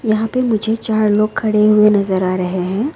यहां पे मुझे चार लोग खड़े हुए नजर आ रहे हैं।